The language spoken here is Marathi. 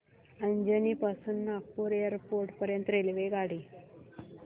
अजनी पासून नागपूर एअरपोर्ट पर्यंत रेल्वेगाडी